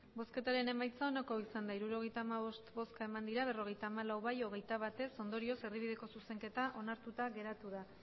emandako botoak hirurogeita hamabost bai berrogeita hamalau ez hogeita bat ondorioz erdibideko zuzenketa onartuta geratu da